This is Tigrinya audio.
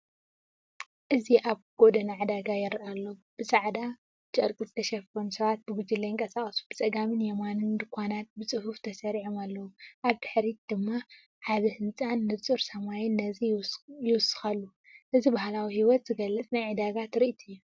እዚ ኣብ ጎደና ዕዳጋ ይረአ ኣሎ። ብጻዕዳ ጨርቂ ዝተሸፈኑ ሰባት ብጉጅለ ይንቀሳቐሱ፣ ብጸጋምን ብየማንን ድኳናት ብጽፉፍ ተሰሪዖም ኣለዉ። ኣብ ድሕሪት ድማ ዓቢ ህንጻን ንጹር ሰማይን ነዚ ይውስኸሉ። እዚ ባህላዊ ህይወት ዝገልጽ ናይ ዕዳጋ ትርኢት እዩ።